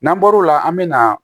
N'an bɔr'o la an bɛ na